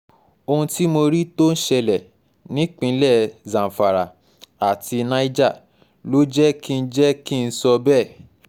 ohun tí mo rí tó ń ṣẹlẹ̀ nípínlẹ̀ zamfara àti niger ló jẹ́ kí jẹ́ kí n sọ bẹ́ẹ̀